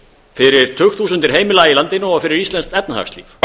fyrir tugþúsundir heimila í landinu og fyrir íslenskt efnahagslíf